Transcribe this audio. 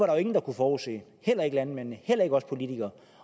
jo ingen der kunne forudse heller ikke landmændene heller ikke os politikere